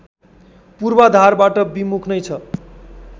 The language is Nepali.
पूर्वाधारबाट विमुख नै छ